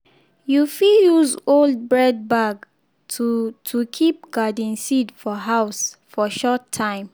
you fit use old bread bag to to keep garden seed for house for short time.